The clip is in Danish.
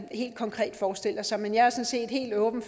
helt konkret forestiller sig men jeg er sådan set helt åben